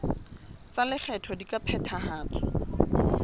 tsa lekgetho di ka phethahatswa